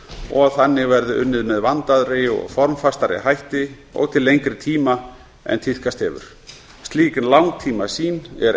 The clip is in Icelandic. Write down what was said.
og að þannig verði unnið með vandaðri og formfastari hætti og til lengri tíma en tíðkast hefur slík langtímasýn er